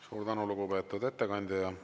Suur tänu, lugupeetud ettekandja!